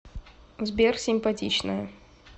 сбер симпатичная